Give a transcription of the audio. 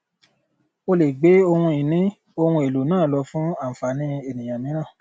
ó lè gbé ohun ìní ohun èlò náà lọ fún ànfàní ènìyàn mìíràn